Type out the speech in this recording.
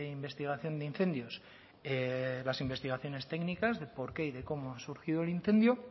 investigación de incendios las investigaciones técnicas de por qué y de cómo ha surgido el incendio